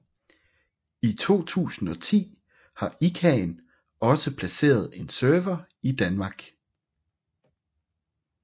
I 2010 har ICANN også placeret en server i Danmark